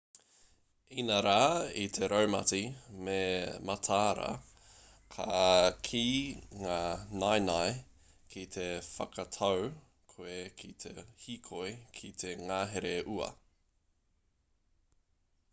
inarā i te raumati me mataara koe ki ngā naenae ki te whakatau koe ki te hīkoi ki te ngahere ua